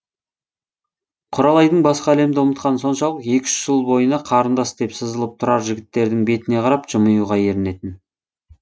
құралайдың басқа әлемді ұмытқаны соншалық екі үш жыл бойына қарындас деп сызылып тұрар жігіттердің бетіне қарап жымиюға ерінетін